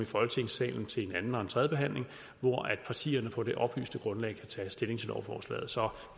folketingssalen til en anden og tredjebehandling hvor partierne på det oplyste grundlag kan tage stilling til lovforslaget så